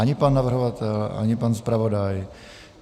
Ani pan navrhovatel, ani pan zpravodaj.